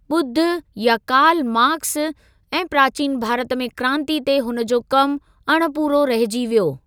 ॿुद्ध या Karl Marx ऐं 'प्राचीन भारत में क्रांति' ते हुन जो कमु अणपूरो रहिजी वियो।